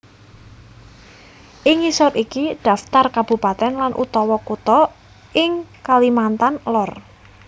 Ing ngisor iki dhaptar kabupatèn lan utawa kutha ing Kalimantan Lor